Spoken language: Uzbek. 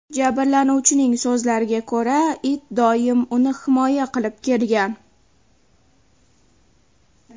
Jabrlanuvchining so‘zlariga ko‘ra, it doim uni himoya qilib kelgan.